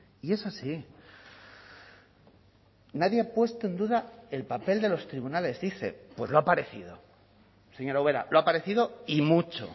y es así nadie ha puesto en duda el papel de los tribunales dice pues lo ha parecido señora ubera lo ha parecido y mucho